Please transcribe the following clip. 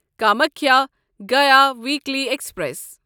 Kamakhya Gaya weekly express